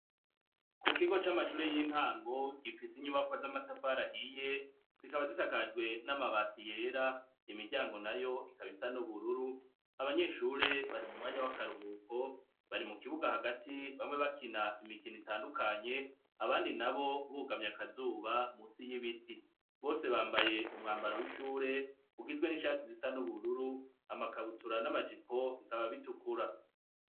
Kukibuga c'amashuri y'intango kifise inyubakwa z'amatafari ahiye zikaba gisakajwe n'amabati yera imiryango nayo ikaba isa n'ubururu. Abanyeshure bari m'umwanya w'akaruhuko bari mukibuga hagati bamwe bakina imikino itandukanye abandi nabo bugamye akazuba musi y'ibiti. Bose bambaye umwambaro w'ishuri ugizwe n'ishati zisa n'ubururu, amakabutura n'amajipo bikaba bitukura.